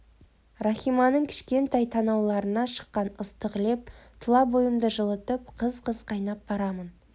рахиманың кішкентай танауларынан шыққан ыстық леп тұла бойымды жылытып қыз-қыз қайнап барамын